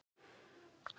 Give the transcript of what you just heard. Af liminu fýkur laufið.